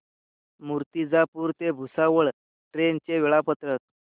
मूर्तिजापूर ते भुसावळ ट्रेन चे वेळापत्रक